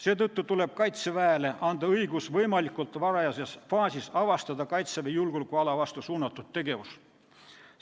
Seetõttu tuleb Kaitseväele anda õigus avastada Kaitseväe julgeolekuala vastu suunatud tegevus võimalikult varajases faasis.